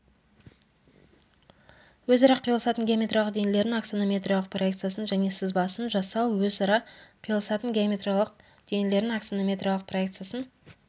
өзара қиылысатын геометриялық денелердің аксонометриялық проекциясын және сызбасын жасау өзара қиылысатын геометриялық денелердің аксонометриялық проекциясын